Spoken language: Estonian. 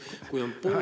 Aitäh, hea Tõnis!